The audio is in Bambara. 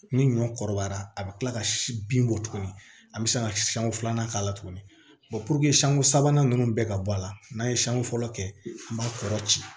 Ni ɲɔ kɔrɔbayara a bi kila ka si bin bɔ tuguni an bɛ se ka siɲɛ filanan k'a la tuguni sanko sabanan nunnu bɛ ka bɔ a la n'a ye siɲɛ fɔlɔ kɛ an b'a kɔrɔ ci